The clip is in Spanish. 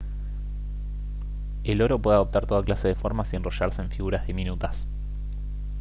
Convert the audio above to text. el oro puede adoptar toda clase de formas y enrollarse en figuras diminutas